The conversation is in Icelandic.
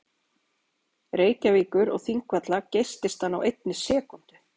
Reykjavíkur og Þingvalla geysist hann á einni sekúndu.